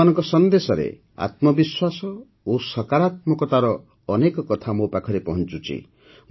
ଆପଣମାନଙ୍କ ସନ୍ଦେଶରେ ଆତ୍ମବିଶ୍ୱାସ ଓ ସକାରାତ୍ମକତାର ଅନେକ କଥା ମୋ ପାଖରେ ପହଞ୍ଚୁଛି